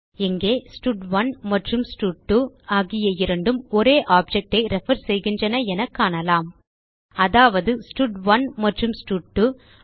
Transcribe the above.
இங்கே ஸ்டட்1 மற்றும் ஸ்டட்2 ஆகிய இரண்டும் ஒரே objectஐ ரெஃபர் செய்கின்றன என காணலாம் அதாவது ஸ்டட்1 மற்றும் ஸ்டட்2